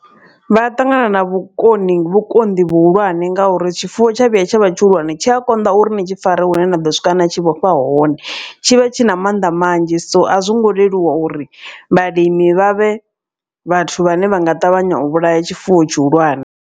Vha ṱangana na vhukoni vhukonḓi vhuhulwane ngauri tshifuwo tsha vhuya tsha vha tshihulwane tshi a konḓa uri ni tshi fare hune na ḓo swika na tshi vhofha hone. Tshi vhe tshi na mannḓa manzhi so a zwo ngo leluwa uri vhalimi vha vhe vhathu vhane vha nga ṱavhanya u vhulaya tshifuwo tshihulwane.